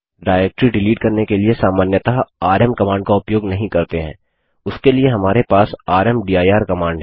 directory delete करने के लिए सामान्यतः आरएम कमांड का उपयोग नहीं करते हैं उसके लिए हमारे पास रामदीर कमांड है